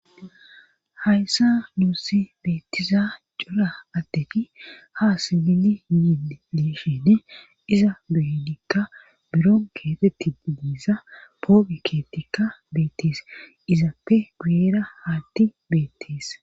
hayssa nuusi beetiza cora attegi ha sibili yiin lishene iza bedikka bironkeeetidiniza poobeketikka beetees izappe guuyera haati beetes